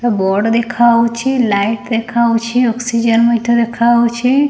ହଁ ବୋର୍ଡ ଦେଖାହଉଛି ଲାଇଟ୍ ଦେଖାହଉଛି ଅକ୍ସିଜେନ୍ ମିଟର ଦେଖାହଉଛି।